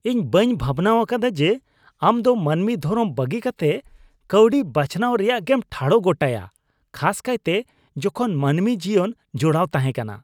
ᱤᱧ ᱵᱟᱹᱧ ᱵᱷᱟᱵᱱᱟᱣᱟᱠᱟᱫᱟ ᱡᱮ ᱟᱢ ᱫᱚ ᱢᱟᱹᱱᱢᱤ ᱫᱷᱚᱨᱚᱢ ᱵᱟᱹᱜᱤ ᱠᱟᱛᱮᱫ ᱠᱟᱹᱣᱰᱤ ᱵᱟᱪᱷᱱᱟᱣ ᱨᱮᱭᱟᱜᱮᱢ ᱴᱷᱟᱲᱚ ᱜᱚᱴᱟᱭᱟ, ᱠᱷᱟᱥ ᱠᱟᱭᱛᱮ ᱡᱚᱠᱷᱚᱱ ᱢᱟᱹᱱᱢᱤ ᱡᱤᱭᱚᱱ ᱡᱚᱲᱟᱣ ᱛᱟᱦᱮᱸᱠᱟᱱᱟ ᱾